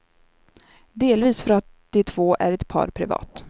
Delvis för att de två är ett par privat.